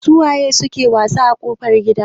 Su waye suke wasa a kofar gida?